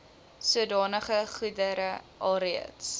sodanige goedere alreeds